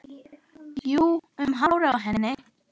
Jú, um hárið á henni!